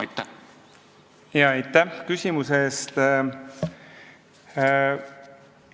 Aitäh küsimuse eest!